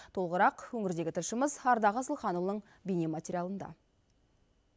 толығырақ өңірдегі тілшіміз ардақ асылханұлының бейнематериалында